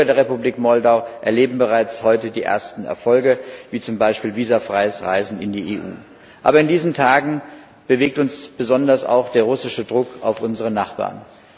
Die Bürger der Republik Moldau erleben bereits heute die ersten Erfolge, wie zum Beispiel visumfreies Reisen in die Europäische Union. Aber in diesen Tagen bewegt uns besonders auch der russische Druck auf unsere Nachbarn.